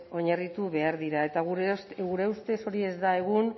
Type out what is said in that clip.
oinarritu behar dira eta gure ustez hori ez da egun